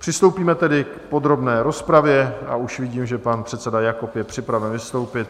Přistoupíme tedy k podrobné rozpravě a už vidím, že pan předseda Jakob je připraven vystoupit.